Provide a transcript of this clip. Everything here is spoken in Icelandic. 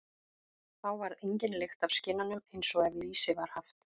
Þá varð engin lykt af skinnunum, eins og ef lýsi var haft.